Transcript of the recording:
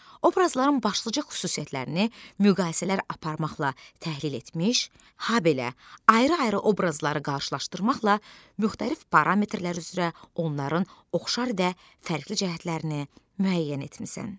Obrazların başlıca xüsusiyyətlərini müqayisələr aparmaqla təhlil etmiş, habelə ayrı-ayrı obrazları qarşılaşdırmaqla müxtəlif parametrlər üzrə onların oxşar və fərqli cəhətlərini müəyyən etmisən.